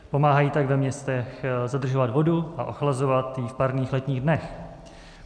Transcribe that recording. Pomáhají tak ve městech zadržovat vodu a ochlazovat i v parních letních dnech.